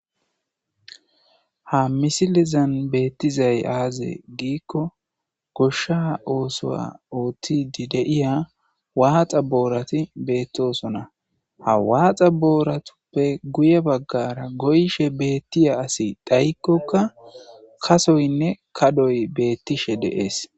Ha misilezan bettizay azze giko gosha osuwa ottidi de'iya waxxa boorati bettosona. Ha waxxa booratuppe guye bagara goyishe bettiya asi dhayikoka kasoyne kaddoy beettishe de'es.